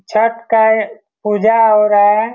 छट काय पूजा हो रहा है।